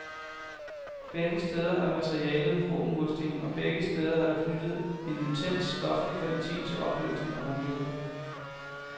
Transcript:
Begge steder er materialet rå mursten, og begge steder er der knyttet en intens stoflig kvalitet til oplevelsen af rumlighed.